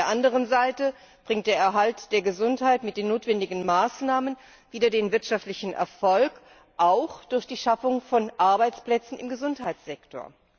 Auf der anderen Seite bringt der Erhalt der Gesundheit mit den notwendigen Maßnahmen wieder den wirtschaftlichen Erfolg auch durch die Schaffung von Arbeitsplätzen im Gesundheitssektor.